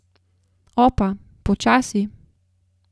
Opa, počasi.